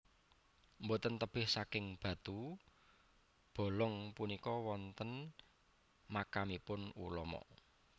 Boten tebih saking batu Bolong punika wonten makamipun ulama